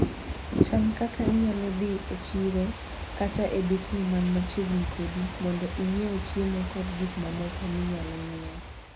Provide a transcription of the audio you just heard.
Chan kaka inyalo dhi e chiro kata e dukni man machiegni kodi mondo ing'iew chiemo kod gik mamoko minyalo nyiew.